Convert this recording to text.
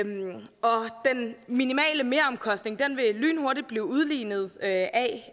den minimale meromkostning lynhurtigt vil blive udlignet af